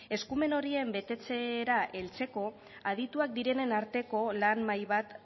eskumen horien betetzera heltzeko adituak direnen arteko lan mahai bat